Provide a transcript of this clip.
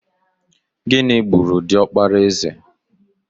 Gịnị gburu diọkpara eze?